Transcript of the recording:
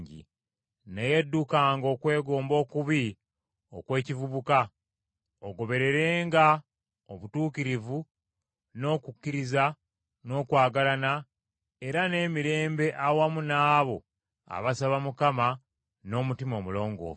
Naye ddukanga okwegomba okubi okw’ekivubuka, ogobererenga obutuukirivu, n’okukkiriza, n’okwagalana era n’emirembe awamu n’abo abasaba Mukama n’omutima omulongoofu.